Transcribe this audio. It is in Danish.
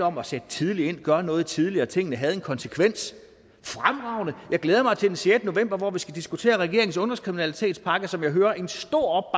om at sætte tidligt ind gøre noget tidligere tingene havde en konsekvens fremragende jeg glæder mig til den sjette november hvor vi skal diskutere regeringens ungdomskriminalitetspakke som jeg hører en stor